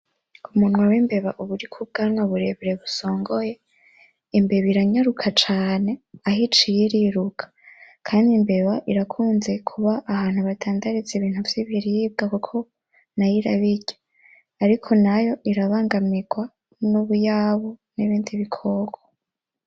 Umunwa w'imbeba uba uriko ubwanwa burebure busongoye, imbeba iranyaruka cane aho iciye iriruka kandi imbeba irakunze kuba ahantu badandariza ibintu vyibiribwa kuko nayo irabirya, ariko nayo irabangamirwa n'ubuyabu n'ibindi bikoko.